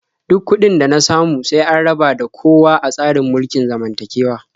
Duk kuɗin da na samu sai an raba da kowa a tsarin mulkin zamantakewa.